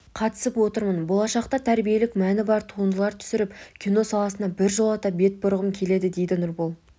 қатысып отырмын болашақта тәрбиелік мәні бар туындылар түсіріп кино саласына біржола бетбұрғым келеді дейді нұрбол